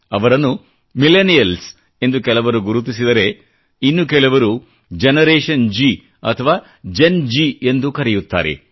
ಅವರನ್ನು ಮಿಲೆನಿಯಲ್ಸ್ ಎಂದು ಕೆಲವರು ಗುರುತಿಸಿದರೆ ಇನ್ನು ಕೆಲವರು ಜನರೇಶನ್ ಜಿ ಅಥವಾ ಜೆನ್ ಜಿ ಎಂದೂ ಕರೆಯುತ್ತಾರೆ